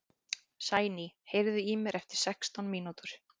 Sæný, heyrðu í mér eftir sextán mínútur.